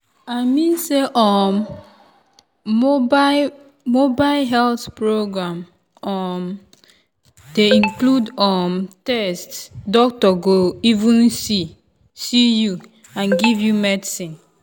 i mean say um mobile mobile health program um dey include um test doctor go even see you and give you medicine.